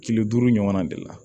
Kile duuru ɲɔgɔnna de la